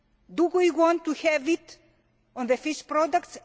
Do we want to have it on the fish products?